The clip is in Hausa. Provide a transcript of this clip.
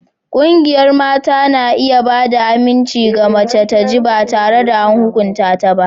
Ƙungiyar mata na iya ba da aminci ga mace ta ji ba tare da an hukunta ta ba.